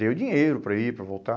Deu dinheiro para ir, para voltar.